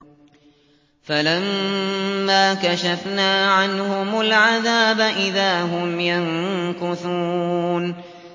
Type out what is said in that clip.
فَلَمَّا كَشَفْنَا عَنْهُمُ الْعَذَابَ إِذَا هُمْ يَنكُثُونَ